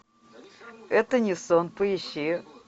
это не сон поищи